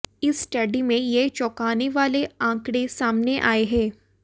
इस स्टडी में ये चौंकाने वाले आंकड़े सामने आए हैं